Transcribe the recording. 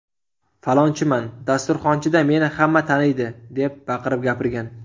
Falonchiman, dasturxonchida meni hamma taniydi’ deb baqirib gapirgan.